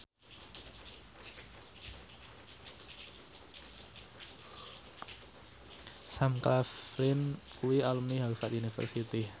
Sam Claflin kuwi alumni Harvard university